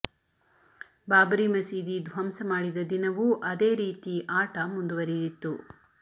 ಬಾಬರಿ ಮಸೀದಿ ಧ್ವಂಸ ಮಾಡಿದ ದಿನವೂ ಅದೇ ರೀತಿ ಆಟ ಮುಂದುವರಿದಿತ್ತು